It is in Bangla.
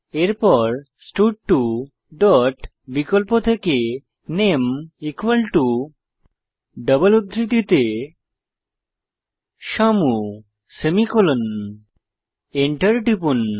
এরপর স্টাড2 ডট বিকল্প থেকে নামে ডবল উদ্ধৃতিতে শ্যামু সেমিকোলন এন্টার টিপুন